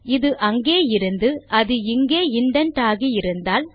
இது அங்கே இருந்து அது இங்கே இண்டென்ட் ஆகியிருந்தால்